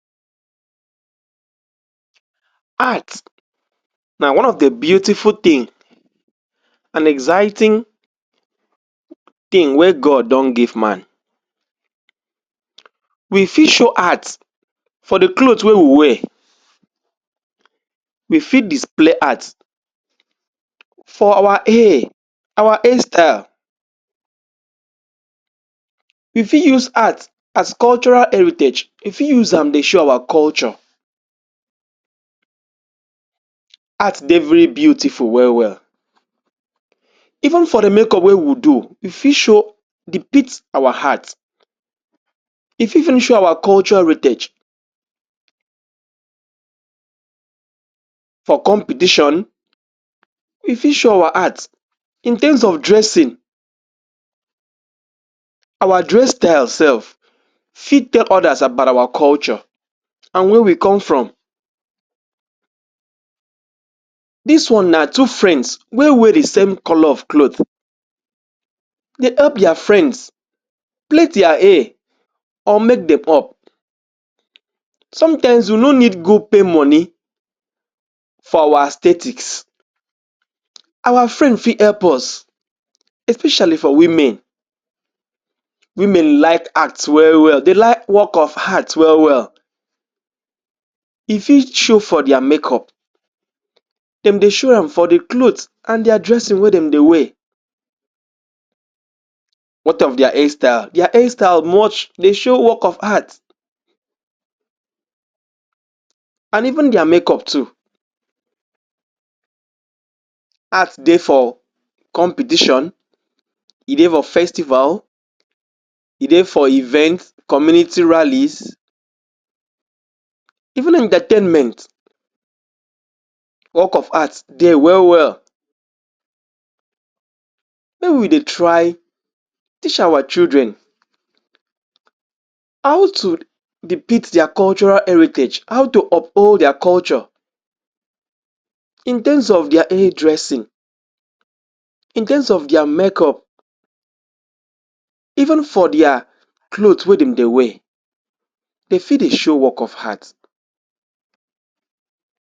Art na one of the beautiful tin an exciting tin wey God don give man. We fit show art for the cloth wey we wear. We fit display art for our hair our hairstyle. We fit use art as cultural heritage; we fit am dey show our culture. Art dey very beautiful well-well. Even for the makeup wey we do, we fit show depict our art. E fit even show our culture heritage. For competition, we fit show our art. In terms of dressing our dress style sef fit tell others about our culture an where we come from. Dis one na two friends wey wear the same colour of cloth. De help dia friends plait dia hair or make dem up. Sometimes, you no need go pay money for our aesthetics. Our friend fit help us, especially for women. Women like art well-well, de like work of art well-well. E fit show for dia makeup. Dem dey show am for the cloth an dia dressing wey dem dey wear. What of dia hairstyle? Dia hairstyle dey show work of art an even dia makeup too. Art dey for competition, e dey for festival, e dey for event, community rallies, even entertainment, work of art dey well-well. Where we dey try teach our children how to depict dia cultural heritage, how to uphold dia culture in terms of dia hair dressing, in terms of dia makeup, even for dia cloth wey dem dey wear, de fit dey show work of art.